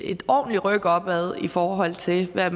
ordentligt ryk opad i forhold til hvad